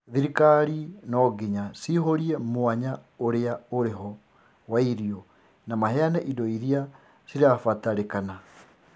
Thirikari no ngiya cĩĩhũrie mwanya ũrĩa ũri ho wa irio na maheanr indo iria cirabatarĩkana